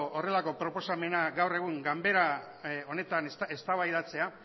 horrelako proposamena gaur egun ganbara honetan eztabaidatzea